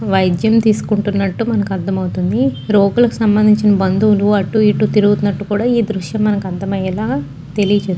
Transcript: వైద్యం తీసుకుంటున్నట్టు మనకీ అర్దమవుతుంది కి సంభందించిన బంధువులు అటు ఇటు తిరుగుతున్నట్టు కూడ ఈ దృశ్యం మనకి అర్దమయ్యేలా తెలియ చేస్తుంది.